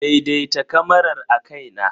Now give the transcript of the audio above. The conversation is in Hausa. Daidaita kamarar akai na.